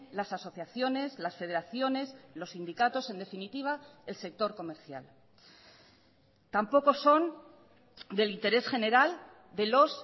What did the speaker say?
las asociaciones las federaciones los sindicatos en definitiva el sector comercial tampoco son del interés general de los